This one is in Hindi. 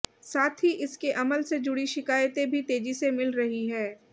साथ ही इसके अमल से जुड़ी शिकायतें भी तेजी से मिल रही है